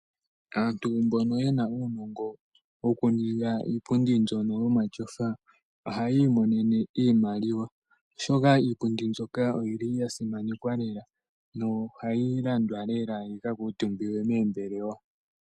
Aantu mbono yena uunongo woku ninga iipundi mbyono yomatyofa ohaya imonene iimaliwa, oshoka iipundi mbyoka oyili ya simanekwa lela nohayi landwa yika kuuntumbiwe moombelewa.